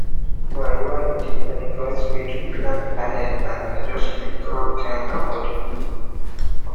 my wife dey advise me to plan ahead and adjust sleep routine accordingly